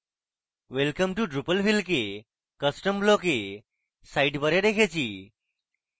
welcome to drupalville কে custom block we sidebar we রেখেছি